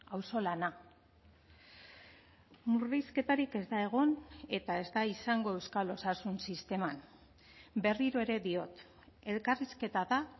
auzolana murrizketarik ez da egon eta ez da izango euskal osasun sisteman berriro ere diot elkarrizketa da